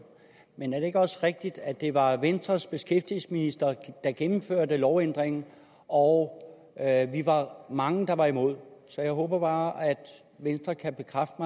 men er det ikke også rigtigt at det var venstres beskæftigelsesminister der gennemførte lovændringen og at vi var mange der var imod så jeg håber bare at venstre kan bekræfte